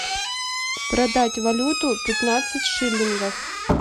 продать валюту пятнадцать шиллингов